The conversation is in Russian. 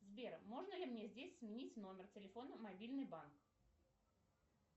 сбер можно ли мне здесь сменить номер телефона мобильный банк